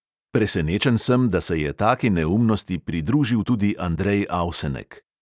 Presenečen sem, da se je taki neumnosti pridružil tudi andrej avsenek.